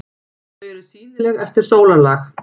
Þau eru sýnileg eftir sólarlag.